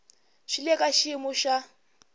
swi le ka xiyimo xa